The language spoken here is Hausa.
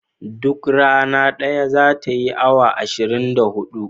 Duk rana daya zata yi awa ashirin da hudu